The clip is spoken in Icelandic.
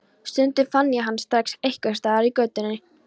Stundum fann ég hann strax einhvers staðar í götunni.